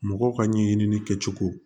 Mɔgɔw ka ɲɛɲini kɛcogo